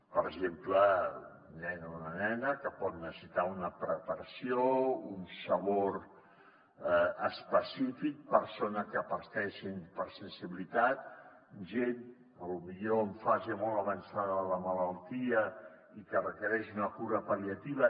per exemple un nen o una nena que pot necessitar una preparació un sabor específic persona que pateix hipersensibilitat gent potser en fase molt avançada de la malaltia i que requereix una cura pal·liativa